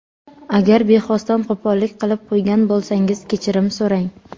Agar bexosdan qo‘pollik qilib qo‘ygan bo‘lsangiz kechirim so‘rang.